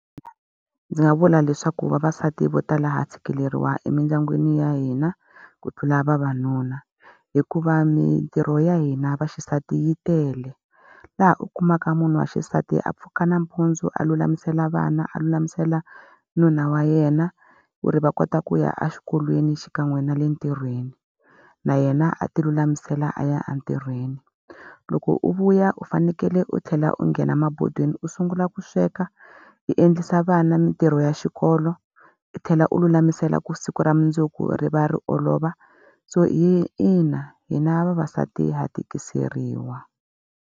Ndzi nga vula leswaku vavasati vo tala ha tshikeleriwa emindyangwini ya hina, ku tlula vavanuna. Hikuva mintirho ya hina vaxisati yi tele, laha u kumaka munhu wa xisati a pfuka nampundzu a lulamisela vana, a lulamisela nuna wa yena, ku ri va kota ku ya exikolweni xikan'we na le ntirhweni. Na yena a ti lulamisela a ya entirhweni. Loko u vuya u fanekele u tlhela u nghena mabodweni u sungula u lava ku sweka, hi endlisa vana mintirho ya xikolo, u tlhela u lulamisela ka siku ra mundzuku ri va ri olova. So ina hina vavasati ha tikiseriwa.